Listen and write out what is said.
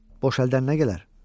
Boş əldən nə gələr?